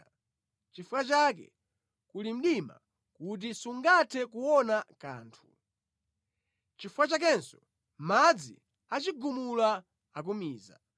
nʼchifukwa chake kuli mdima kuti sungathe kuona kanthu, nʼchifukwa chakenso madzi achigumula akumiza.